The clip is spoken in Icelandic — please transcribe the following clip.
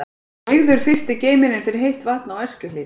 Byggður fyrsti geymirinn fyrir heitt vatn á Öskjuhlíð.